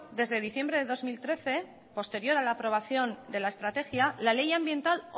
desde diciembre de dos mil trece posterior a la aprobación de la estrategia la ley ambiental